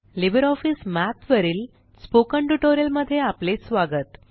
Libre office Math वरील spoken tutorial मध्ये आपले स्वागत